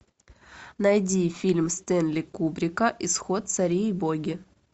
найди фильм стэнли кубрика исход цари и боги